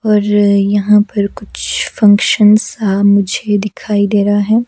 और यहाँ पर कुछ फंक्शन सा मुझे दिखाई दे रहा है।